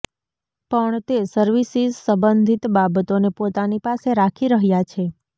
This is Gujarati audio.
પણ તે સર્વિસિસ સંબંધિત બાબતોને પોતાની પાસે રાખી રહ્યાં છે